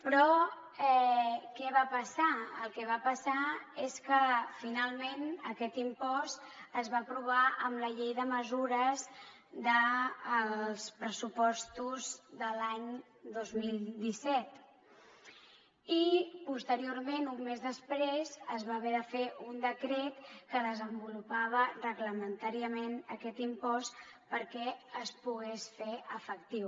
però què va passar el que va passar és que finalment aquest impost es va aprovar amb la llei de mesures dels pressupostos de l’any dos mil disset i posteriorment un mes després es va haver de fer un decret que desenvolupava reglamentàriament aquest impost perquè es pogués fer efectiu